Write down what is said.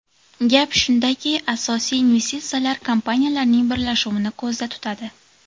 Gap shundaki, asosiy investitsiyalar kompaniyalarning birlashuvini ko‘zda tutadi.